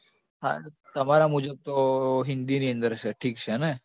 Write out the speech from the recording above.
હા, તમારા મુજબ તો હિન્દીની અંદર છે ઠીક છે ને